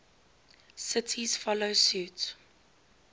cities follow suit